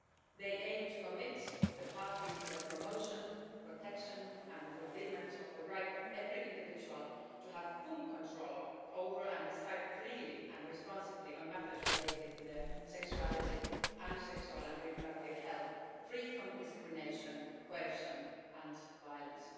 They aim to commit the parties to the promotion, protection and fulfilment of the right of every individual to have full control over and decide freely and responsibly on matters related to their sexuality and sexual and reproductive health, free from discrimination, coercion and violence.